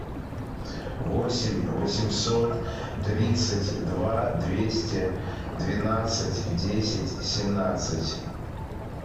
восемь восемьсот тридцать два двести двенадцать десять семнадцать